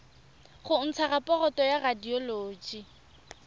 go ntsha raporoto ya radioloji